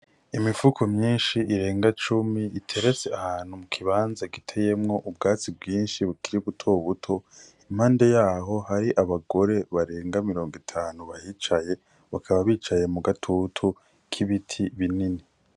Imifuko myinshi irenga cumi iteretse ahantu mu kibanza giteyemwo ubwatsi bwinshi bukiri buto buto impande yaho hari abagore barenga mirongo itanu bahicaye bakaba bicaye mugatutu k'ibiti binini